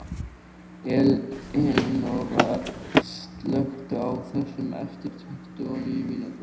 Elinóra, slökktu á þessu eftir tuttugu og níu mínútur.